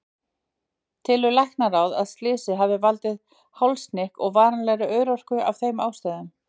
Telur Læknaráð að slysið hafi valdið hálshnykk og varanlegri örorku af þeim ástæðum?